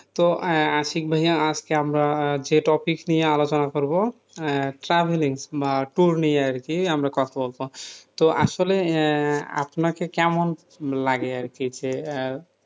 তো আহ আশিক ভাইয়া আজকে আমরা আহ যে topic নিয়ে আলোচনা করব আহ travelling বা tour নিয়ে আরকি আমরা কথা বলবো তো আসলে আহ আপনাকে কেমন লাগে আরকি যে আহ